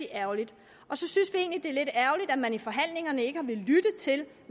ærgerligt at man i forhandlingerne ikke har villet lytte til